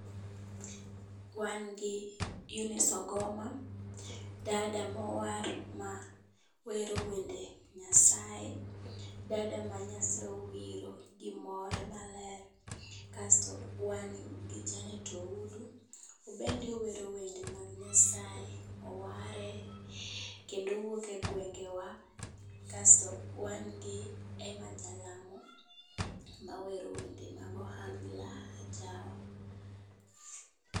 Wan gi Eunice ogoma dada mowar ma wero wende nyasaye, dada ma nyasaye owiro gi more maler. Kasto wan gi janet Oudu, o bende owero wende mag nyasaye, oware kendo owuok e gwenge wa, kasto wan gi Emma Jalamo mawero wende mag ohangla, ajawa